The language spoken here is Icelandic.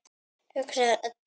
hugsar Edda.